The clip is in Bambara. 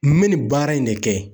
N bɛ nin baara in de kɛ